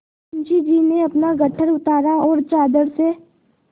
मुंशी जी ने अपना गट्ठर उतारा और चादर से